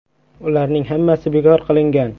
Ularning hammasi bekor qilingan.